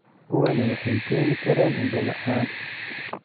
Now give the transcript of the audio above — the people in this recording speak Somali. Kuwani waxay keeni karaan indho la'aan.